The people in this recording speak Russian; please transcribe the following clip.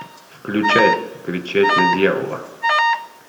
включай кричать на дьявола